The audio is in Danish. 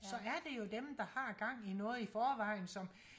så er det jo dem der har gang i noget i forvejen som